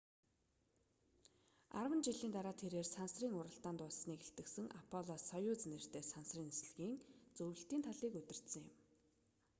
арван жилийн дараа тэрээр сансрын уралдаан дууссаныг илтгэсэн аполло-союз нэртэй сансрын нислэгийн зөвлөлтийн талыг удирдсан юм